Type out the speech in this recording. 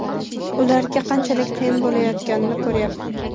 Ularga qanchalik qiyin bo‘layotganini ko‘ryapman.